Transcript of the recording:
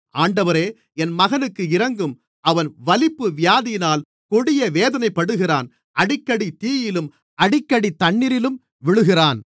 ஆண்டவரே என் மகனுக்கு இரங்கும் அவன் வலிப்பு வியாதியினால் கொடிய வேதனைப்படுகிறான் அடிக்கடி தீயிலும் அடிக்கடி தண்ணீரிலும் விழுகிறான்